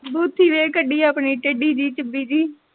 ਬੂਥੀ ਵੇਖ ਕੱਢੀ ਆਪਣੀ ਟੇਡੀ ਜੀ ਚਿੱਬੀ ਜੀ।